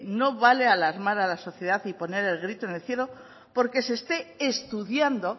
no vale alarmar a la sociedad y poner el grito en el cielo porque se esté estudiando